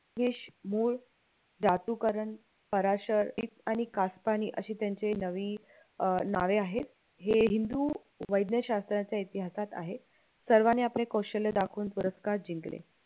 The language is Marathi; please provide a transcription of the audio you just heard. केश, मूळ धातुकरण फराशळ आणि कास्पनी अशी त्यांची नवी अं नावे आहेत हे हिंदू वैज्ञशास्त्राच्या इतिहासात आहे सर्वानी आपले कौशल्य दाखवून पुरस्कार जिंकले